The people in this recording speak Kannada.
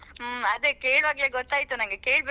ಆ ಚಳಿ ಅಲ್ವಾ ಈಗ ?